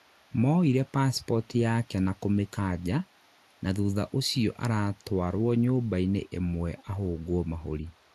maroire pasipoti yake na kũmĩkanja na thutha ũcio aratwarwo nyũmba-inĩ ĩmwe ahũngwo mahuri